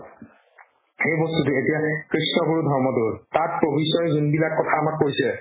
সেই বস্তুতো এতিয়া কৃষ্ণ গুৰুৰ ধৰ্মতো তাত প্ৰভু ঈশ্ৱৰে যোনবিলাক কথা আমাক কৈছে